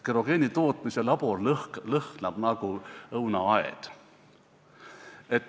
Kerogeeni tootmise labor lõhnab nagu õunaaed.